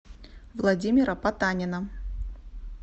владимира потанина